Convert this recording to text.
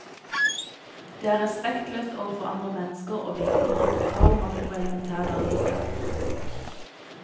Det er respektløst overfor andre mennesker og vitner om total mangel på elementær dannelse.